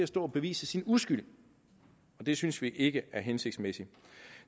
stå og bevise sin uskyld og det synes vi ikke er hensigtsmæssigt